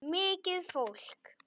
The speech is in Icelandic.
Mikið fólk.